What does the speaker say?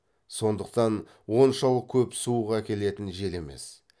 сондықтан оншалық көп суық әкелетін жел емес